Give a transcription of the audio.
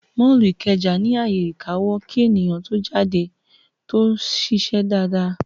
Mọ́ọ̀lù Ìkẹjà ní ààyè ìkawó kí èèyàn tó jáde tó ṣiṣẹ́ dáadáa